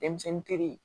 Denmisɛnnin teri